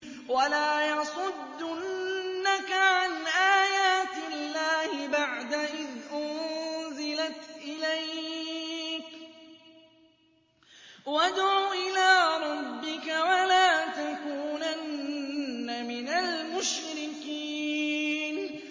وَلَا يَصُدُّنَّكَ عَنْ آيَاتِ اللَّهِ بَعْدَ إِذْ أُنزِلَتْ إِلَيْكَ ۖ وَادْعُ إِلَىٰ رَبِّكَ ۖ وَلَا تَكُونَنَّ مِنَ الْمُشْرِكِينَ